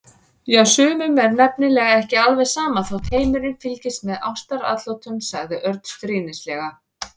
Já, sumum er nefnilega ekki alveg sama þótt heimurinn fylgist með ástaratlotunum sagði Örn stríðnislega.